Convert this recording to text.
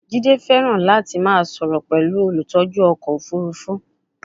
Jide fẹràn lati ma soro pẹlu olutọju ọkọ ofurufu